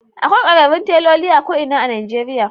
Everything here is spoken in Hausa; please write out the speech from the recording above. Akwai kwararrun teloli a ko’ina a Nijeriya